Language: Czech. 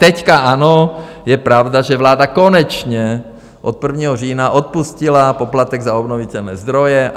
Teď ano, je pravda, že vláda konečně od 1. října odpustila poplatek za obnovitelné zdroje.